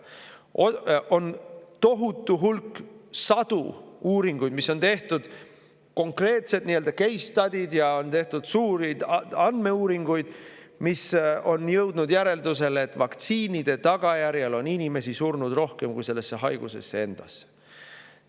On tehtud tohutu hulk, sadu uuringuid, konkreetseid nii-öelda case study'sid, ja on tehtud suuri andmeuuringuid, milles on jõutud järeldusele, et vaktsiinide tagajärjel on inimesi surnud rohkem kui sellesse haigusesse endasse.